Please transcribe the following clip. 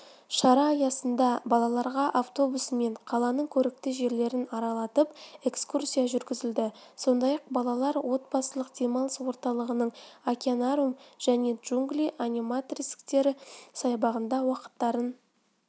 шара аясында балаларға автобусымен қаланың көрікті жерлерін аралатып экскурсия жүргізілді сондай-ақ балалар отбасылық демалыс орталығының океанариум және джунгли аниматроникстер саябағында уақыттарын